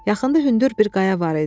Yaxında hündür bir qaya var idi.